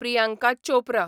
Priyanka Chopra